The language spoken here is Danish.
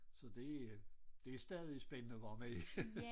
Så det øh det stadig spændende hvordan med